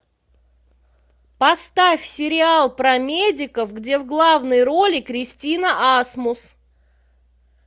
поставь сериал про медиков где в главной роли кристина асмус